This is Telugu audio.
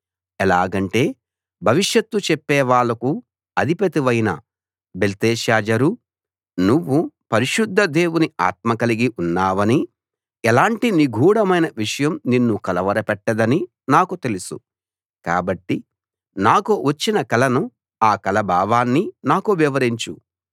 ఎలాగంటే భవిషత్తు చెప్పేవాళ్ళకు అధిపతివైన బెల్తెషాజర్ నువ్వు పరిశుద్ధ దేవుని ఆత్మ కలిగి ఉన్నావనీ ఎలాంటి నిగూఢమైన విషయం నిన్ను కలవరపెట్టదనీ నాకు తెలుసు కాబట్టి నాకు వచ్చిన కలను ఆ కల భావాన్నీ నాకు వివరించు